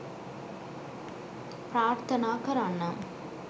ප්‍රාර්ථනා කරන්නම්.